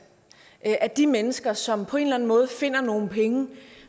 at de mennesker som på en måde finder nogle penge